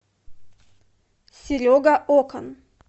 серега окан